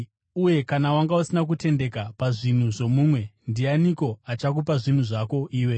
Uye kana wanga usina kutendeka pazvinhu zvomumwe, ndianiko achakupa zvinhu zvako iwe?